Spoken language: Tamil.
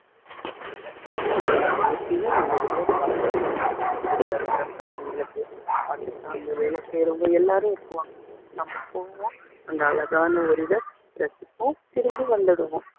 அதனால அவங்களை நம்ம எப்பயுமே நல்லபடியா பாத்துக்கணுங்க zoo ல இருக்கிற பிராணிங்களுக்கு அங்க வேலை செய்யுறவங்க எல்லாரும் இருப்பாங்க நம்ம போவோம் அந்த அழகான ஒரு இதை ரசிப்போம் திரும்பி வந்துடுவோம்